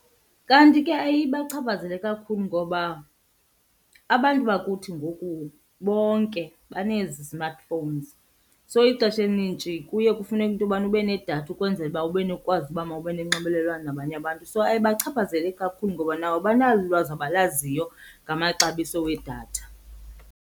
Kanti ke ayiye ibachaphazele kakhulu ngoba abantu bakuthi ngoku bonke banezi smartphones, so ixesha elinintshi kuye kufuneke into yobana ube nedatha ukwenzela uba ube nokwazi uba mawube nonxibelelwano nabanye abantu. So ayibachaphazeli kakhulu ngoba nabo banalo ulwazi abalaziyo ngamaxabiso wedatha.